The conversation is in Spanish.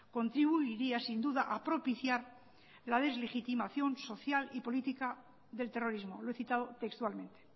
contribuiría sin duda a propiciar la deslegitimación social y política del terrorismo lo he citado textualmente